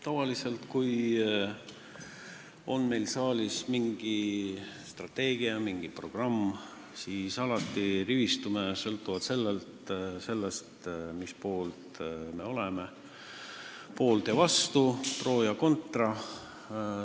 Tavaliselt, kui meil on saalis mingi strateegia, mingi programm, siis me alati rivistume, sõltuvalt sellest, kummal pool me oleme, poolt ja vastu, pro ja contra.